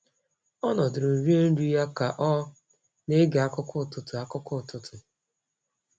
Ọ nọdụrụ rie nri ya ka ọ na-ege akụkọ ụtụtụ. akụkọ ụtụtụ.